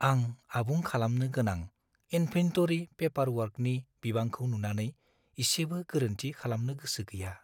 आं आबुं खालामनो गोनां इनभेन्टरि पेपारवर्कनि बिबांखौ नुनानै इसेबो गोरोन्थि खालामनो गोसो गैया।